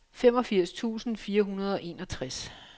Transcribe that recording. femogfirs tusind fire hundrede og enogtres